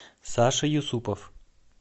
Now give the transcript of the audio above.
саша юсупов